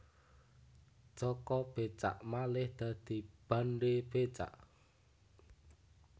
Jaka Becak malih dadi Bandhe Becak